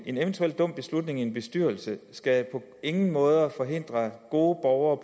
eventuel dum beslutning i en bestyrelse skal på ingen måde forhindre gode borgere